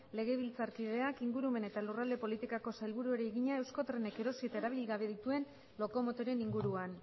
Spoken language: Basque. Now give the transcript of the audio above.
legebiltzarkideak ingurumen eta lurralde politikako sailburuari egina euskotrenek erosi eta erabili gabe dituen lokomotoren inguruan